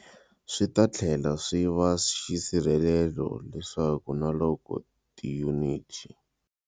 Swi ta tlhela swi va xisirhelelo leswaku na loko tiyuniti.